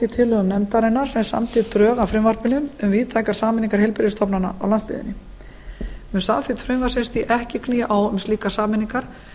í tillögum nefndarinnar sem samdi drög að frumvarpinu um víðtækar sameiningar heilbrigðisstofnana á landsbyggðinni mun samþykkt frumvarpsins því ekki knýja á um slíkar sameiningar